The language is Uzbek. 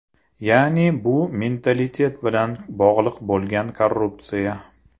Ya’ni bu mentalitet bilan bog‘liq bo‘lgan korrupsiya.